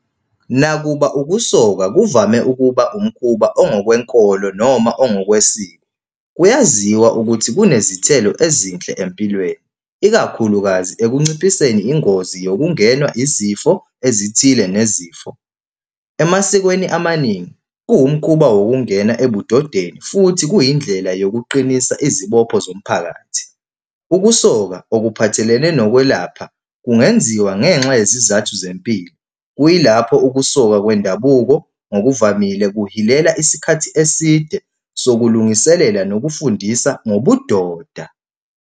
Nakuba ukusoka kuvame ukuba umkhuba ongokwenkolo noma ongokwesiko, kuyaziwa ukuthi kunezithelo ezinhle empilweni, ikakhulukazi ekunciphiseni ingozi yokungenwa izifo ezithile nezifo. Emasikweni amaningi kuwumkhuba wokungena ebudodeni futhi kuyindlela yokuqinisa izibopho zomphakathi. Ukusoka okuphathelene nokwelapha kungenziwa ngenxa yezizathu zempilo. Kuyilapho ukusoka kwendabuko ngokuvamile kuhilela isikhathi eside sokulungiselela nokufundisa ngobudoda.